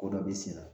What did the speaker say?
Ko dɔ bɛ sen na